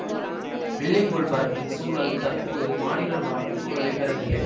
வெள்ளி கோள் பரப்பின் சூழல் தற்போது மானிடர் வாழும் சூழலை பெறவில்லை